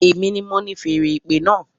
Èmi ni mo ni feèrè ìpè náà